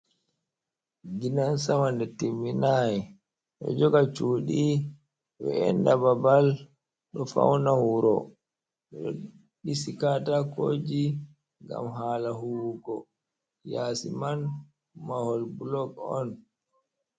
Ginan Sama nde timminai ɗo joga shuɗi we’enɗa Babal, ɗo fauna wuro. Ɓeɗo ɗisi Katakoji ngam hala huwugo. Yasi man mahol bulok'on.